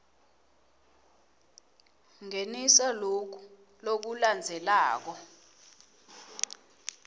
ngenisa loku lokulandzelako